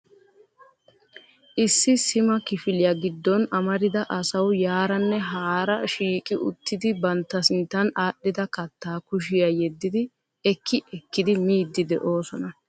Issi sima kifiliya giddon amarida asau yaaranne haara shiiqqi uttidi bantta sinttan aadhdhida katta kushiya yedidi ekki ekkidi miidi de'oosona.